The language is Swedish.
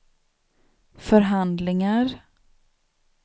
förhandlingar